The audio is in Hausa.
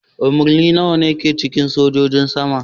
Umarni nawa ne ke cikin sojojin sama?